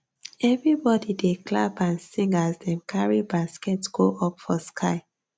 everybody dey clap and sing as dem carry baskets go up for sky